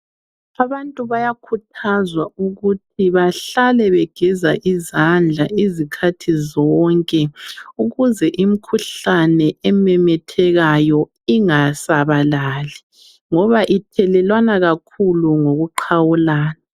Abantu bayakhuthazwa ukuthi bahlale begeza izandla izikhathi zonke ukuze imikhuhlane ememethekayo ingasabalali ngoba ithelelwana kakhulu ngokuqhawulana.